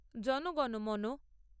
জন গণ মন